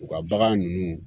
U ka bagan ninnu